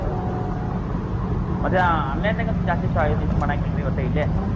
ಮತ್ online ದಾಗ್ ಅಂತೂ ಜಾಸ್ತಿ sho~ ಇದು ಇದು ಮಾಡಂಗಿಲ್ರಿ ಇವತ್ತೆ ಇಲ್ಲೇ.